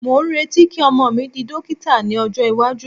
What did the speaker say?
mo n reti ki ọmọ mi di dókítà ní ọjọ iwaju